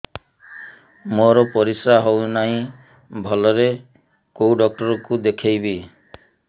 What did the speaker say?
ମୋର ପରିଶ୍ରା ହଉନାହିଁ ଭଲରେ କୋଉ ଡକ୍ଟର କୁ ଦେଖେଇବି